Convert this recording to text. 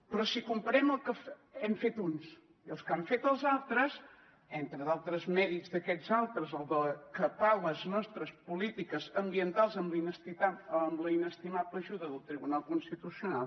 però si comparem el que hem fet uns i el que han fet els altres entre d’altres mèrits d’aquests altres el de capar les nostres polítiques ambientals amb la inestimable ajuda del tribunal constitucional